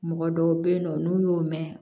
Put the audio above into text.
Mɔgɔ dɔw bɛ yen nɔ n'u y'o mɛn